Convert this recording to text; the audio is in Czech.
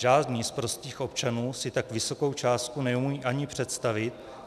Žádný z prostých občanů si tak vysokou částku neumí ani představit.